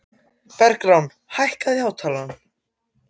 Bergrán, hækkaðu í hátalaranum.